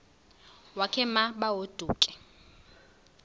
wakhe ma baoduke